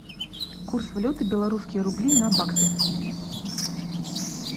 курс валюты белорусские рубли на баксы